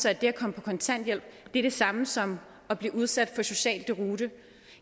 at det at komme på kontanthjælp er det samme som at blive udsat for social deroute